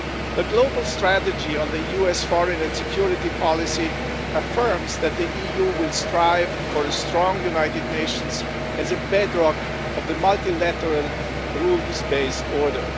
The global strategy on the US foreign and security policy affirms that the EU will strive for a strong United Nations as a bedrock of the multilateral rules based order.